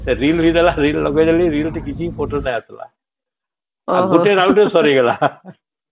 reel ଲଗେଇ ଦେଲି reel ଥି କିଛି photo ନାଇଁ ଆସିଲା ଗୋଟେ round ରେ ସରିଗଲା